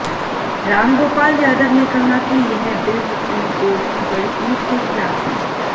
रामगोपाल यादव ने कहा कि यह बिल सुप्रीम कोर्ट की बड़ी पीठ के खिलाफ है